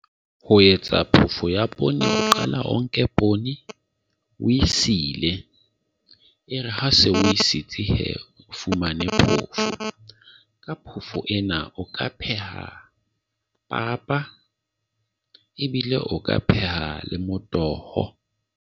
Ho etsa phoofo ya poone o qala o nke poone o e sile, e re ha se o e sitse he, o fumane phoofo. Ka phoofo ena o ka pheha papa, ebile o ka peha le motoho.